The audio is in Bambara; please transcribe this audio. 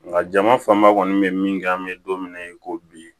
Nga jama fanba kɔni bɛ min kɛ an bɛ don min na i ko bi